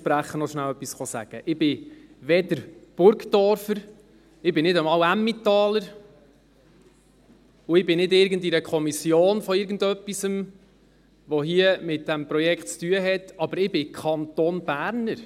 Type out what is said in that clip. Ich bin weder Burgdorfer, ich bin nicht einmal Emmentaler und ich bin nicht in irgendeiner Kommission von irgendetwas, das hier mit dem Projekt zu tun hat, aber ich bin «Kantonberner».